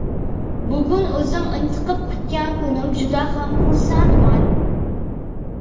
Bugun o‘zim intiqib kutgan kunim, juda ham xursandman.